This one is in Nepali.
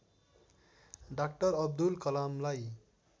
डाक्टर अब्दुल कलामलाई